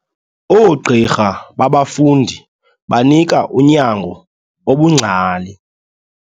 Oogqirha babafundi banika unyango obungcali.